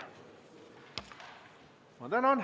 Tänan!